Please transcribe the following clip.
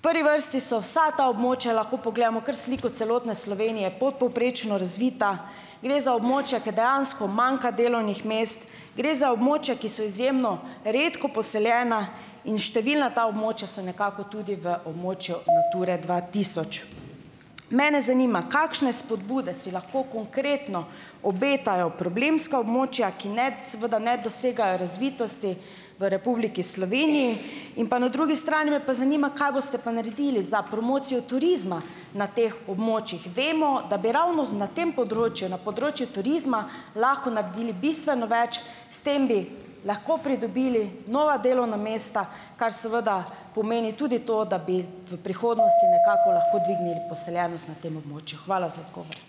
V prvi vrsti so vsa ta območja, lahko pogledamo kar sliko celotne Slovenije, podpovprečno razvita. Gre za območja, ke dejansko manjka delovnih mest. Gre za območja, ki so izjemno redko poseljena in številna ta območja so nekako tudi v območju Nature dva tisoč . Mene zanima: Kakšne spodbude si lahko konkretno obetajo problemska območja, ki, ne, seveda ne dosegajo razvitosti v Republiki Sloveniji? In pa na drugi strani me pa zanima, kaj boste pa naredili za promocijo turizma na teh območjih. Vemo, da bi ravno na tem področju, na področju turizma lahko naredili bistveno več. S tem bi lahko pridobili nova delovna mesta, kar seveda pomeni tudi to, da bi v prihodnosti nekako lahko dvignili poseljenost na tem območju. Hvala za odgovor.